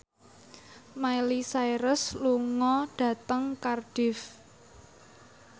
Miley Cyrus lunga dhateng Cardiff